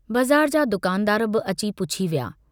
बज़ार जा दुकानदार बि अची पुछी विया।